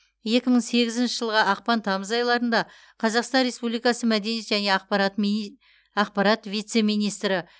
екі мың сегізінші жылғы ақпан тамыз айларында қазақстан республикасы мәдениет және ақпарат мини ақпарат вице министрі